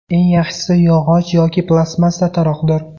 Eng yaxshisi yog‘och yoki plastmassa taroqdir.